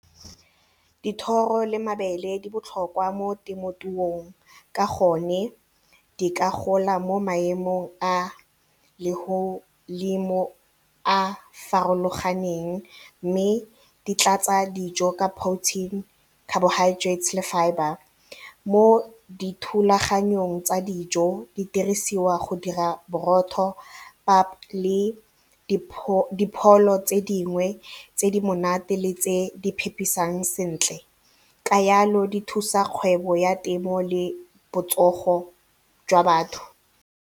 Dithoro le mabele di botlhokwa mo temothuong ka gonne di ka gola mo maemong a a farologaneng mme di tlatsa dijo ka protein, carbohydrates le fibre. Mo dithulaganyong tsa dijo di dirisiwa go dira borotho, pap le dipholo tse dingwe tse di monate le tse di phepisang sentle ka yalo di thusa kgwebo ya temo le botsogo jwa batho.